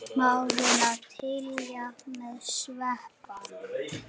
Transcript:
Smárinn að tjilla með Sveppa?